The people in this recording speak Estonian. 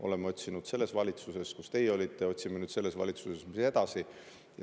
Oleme neid otsinud selles valitsuses, kus teie olite, ja otsime nüüd selles valitsuses edasi.